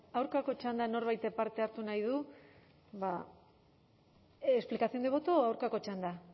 aurkako txandan norbaitek parte hartu nahi du explicación de voto o aurkako txanda